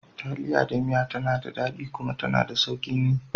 Taliya da miya tana daɗi kuma tana da sauƙin yi.